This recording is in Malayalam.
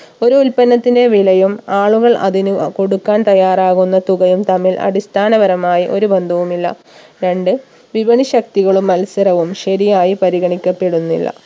ഒരു ഉൽപ്പന്നത്തിന്റെ വിലയും ആളുകൾ അതിന് അ കൊടുക്കാൻ തയ്യാറാകുന്ന തുകയും തമ്മിൽ അടിസ്ഥാനപരമായി ഒരു ബന്ധവും ഇല്ല രണ്ട് വിപണി ശക്തികളും മത്സരവും ശരിയായി പരിഗണിക്കപ്പെടുന്നില്ല